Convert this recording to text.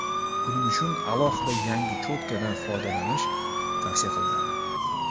Buning uchun alohida yangi cho‘tkadan foydalanish tavsiya qilinadi.